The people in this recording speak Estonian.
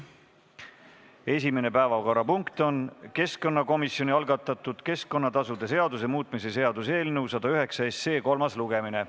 Esimene päevakorrapunkt on keskkonnakomisjoni algatatud keskkonnatasude seaduse muutmise seaduse eelnõu 109 kolmas lugemine.